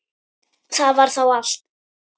Það var þá allt.